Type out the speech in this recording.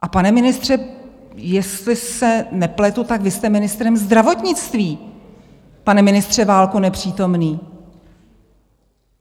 A pane ministře, jestli se nepletu, tak vy jste ministrem zdravotnictví, pane ministře Válku nepřítomný.